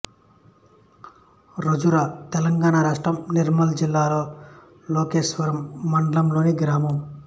రాజూరా తెలంగాణ రాష్ట్రం నిర్మల్ జిల్లా లోకేశ్వరం మండలంలోని గ్రామం